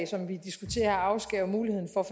som vi diskuterer her afskærer jo muligheden for